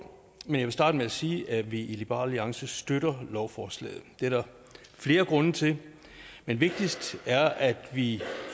men starte med at sige at vi i liberal alliance støtter lovforslaget det er der flere grunde til men vigtigst er at vi